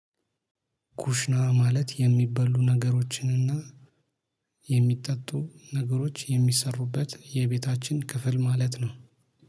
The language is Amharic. ኩሽና ማለት የሚበሉ ነገሮችን እና የሚጠጡ ነገሮች የሚሰሩበት የቤታችን ክፍል ማለት ነው።